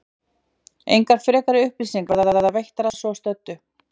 Engar frekari upplýsingar verða veittar að svo stöddu.